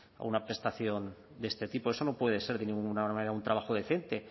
a una prestación de este tipo eso no puede ser de ninguna manera un trabajo decente